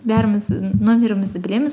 бәріміз нөмірімізді білеміз